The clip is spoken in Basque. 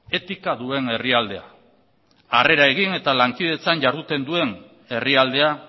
etika duen herrialdea harrera egin eta lankidetzen jarduten duen herrialdea